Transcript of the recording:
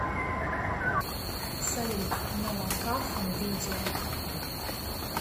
салют ноа кахан видео